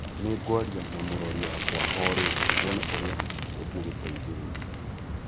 Nĩ ngwaria na Mũrori wakwa o rĩu, tuone ũrĩa tũngĩgũteithĩrĩria.